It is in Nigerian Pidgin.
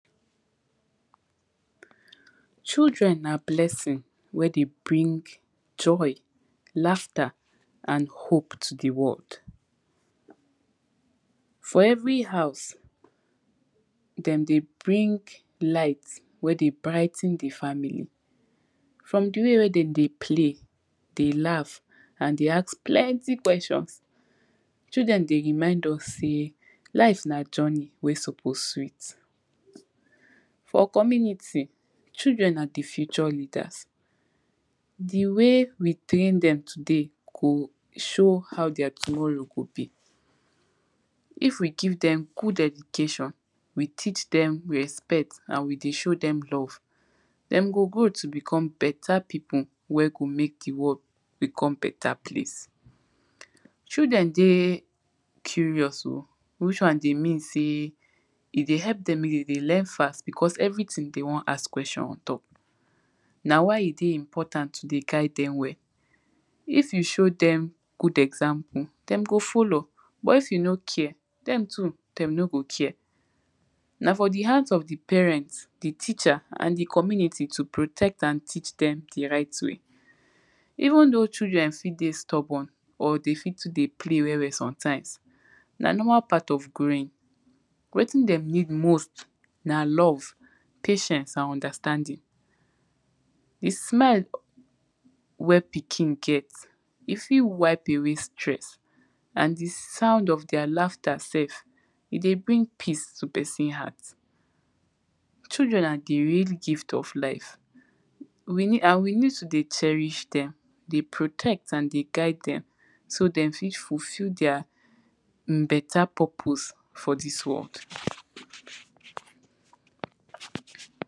Children na blessing wen dey bring joy, laughter and hope to di world. for every house, den dey bring light we dey brigh ten di family from di way wen dem dey play, dey laugh and dey ask plenty questions, children dey remind us sey life na journey wey suppose sweet. for community, children na di future leaders di way we train dem today go show how their tomorrow go be if we give dem good education, we teach dem respect and we dey show dem love, dem go grow to become beta pipu wey go make di world become beta place. children dey curious oh which wan dey mean sey e dey help dem de dey learn fast bicos everytin dey won ask questio ontop na why e dey important to dey guide dem well. if you show dem good example dem go follow, but if you no care, dem too dem no go care. na for di house of the parent, di teacher, and di community to protect and teach dem di righ way. even though children fit dey stubborn, or dey fi too dey play well well sometimes, na normal part of growing wetin dem need most na love, patient and understanding. di smile wey pikin get, e fit wipe away stress and di sound of their laughter self, e dey bring peace to pesin heart. children na di real gift of life. we need and we need to dey cherish dem, dey protect and dey guide dem so dem fit fufil um their beta purpose for dis world.